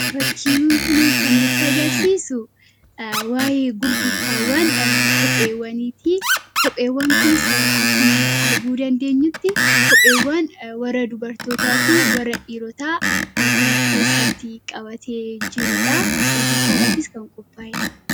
Fakkiin kun kan nuti agarsisuu waa'ee gurgurtawwan qopheewwanitti. Kopheewwaan kunis akkuma arguu dandeenyutti kopheewwaan warra dubartootafi warra dhirootaa kan of keessatti qabate kan jiruudha. Gurgurtadhafis kan qopha'eedha.